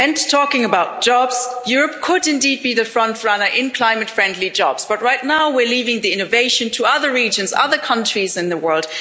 Talking about jobs, Europe could indeed be the frontrunner in climate friendly jobs, but right now we're leaving the innovation to other regions and countries in the world.